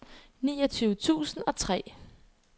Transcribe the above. niogtyve tusind og tre